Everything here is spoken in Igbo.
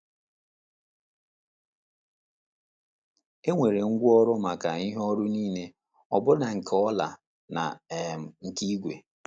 E nwere ngwaọrụ maka “ ihe ọrụ nile ọ bụla nke ọla na um nke ígwè. ”